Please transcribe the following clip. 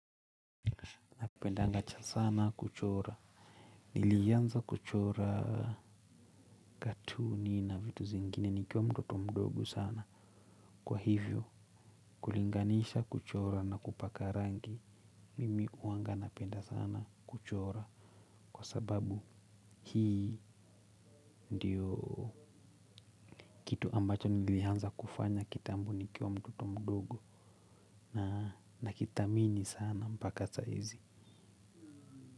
Pendanga cha sana kuchora. Nilianza kuchora katuni na vitu zingine nikiwa mtoto mdogo sana. Kwa hivyo kulinganisha kuchora na kupaka rangi. Mimi huanga napenda sana kuchora. Kwa sababu hii ndiyo kitu ambacho nilianza kufanya kitambo nikiwa mtoto mdogo. Nakithamini sana mpaka saa hizi.